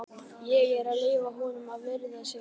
Ég er að leyfa honum að viðra sig aðeins.